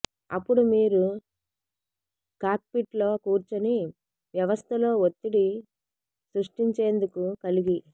అప్పుడు మీరు కాక్పిట్ లో కూర్చుని వ్యవస్థలో ఒత్తిడి సృష్టించేందుకు కలిగి